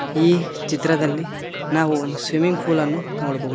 ಈ ಚಿತ್ರದಲ್ಲಿ ನಾವು ಒಂದು ಸ್ವಿಮ್ಮಿಂಗ್ ಪೂಲನ್ನು ನೋಡಬಹುದು.